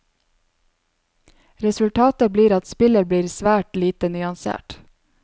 Resultatet blir at spillet blir svært lite nyansert.